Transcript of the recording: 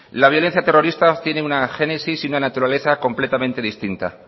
la violencia terrorista tiene una génesis y una naturaleza completamente distinta